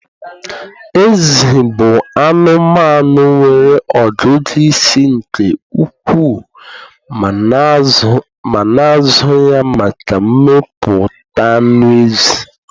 Ezi bụ anụmanụ nwere ọgụgụ isi nke ukwuu ma na-azụ ya maka mmepụta anụ ezi.